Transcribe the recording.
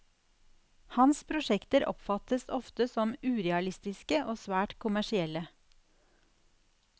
Hans prosjekter oppfattes ofte som urealistiske og svært kommersielle.